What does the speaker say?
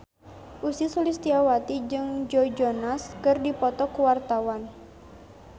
Ussy Sulistyawati jeung Joe Jonas keur dipoto ku wartawan